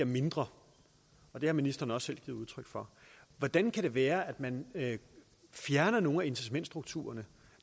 mindre og det har ministeren også selv givet udtryk for hvordan kan det være at man fjerner noget incitamentsstruktur